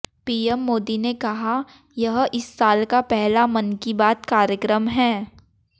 PM Modi ने कहा यह इस साल का पहला मन की बात कार्यक्रम है